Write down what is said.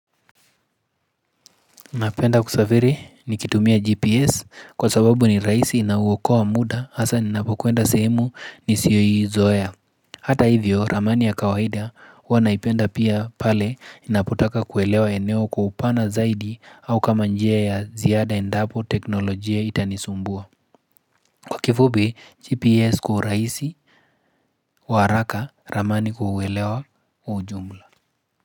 Napenda kusafiri nikitumia GPS kwa sababu ni rahisi na huokoa muda hasa ninapokwenda sehemu nisiyoizoea Hata hivyo, ramani ya kawaida huwa naipenda pia pale inapotaka kuelewa eneo kwa upana zaidi au kama njia ya ziada endapo teknolojia itanisumbua. Kwa kifupi, GPS kwa urahisi waraka, ramani kuelewa ujumla.